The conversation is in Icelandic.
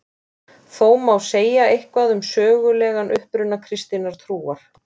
Þó má segja eitthvað um sögulegan uppruna kristinnar trúar.